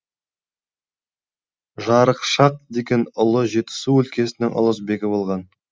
жарықшақ деген ұлы жетісу өлкесінің ұлысбегі болған